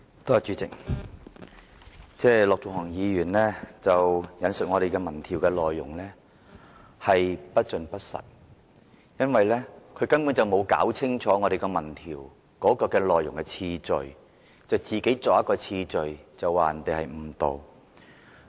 主席，陸頌雄議員引述我們的民調，但他發言的內容不盡不實，因為他根本沒有弄清楚民調內容的次序，就自行編造一個次序，說我們誤導。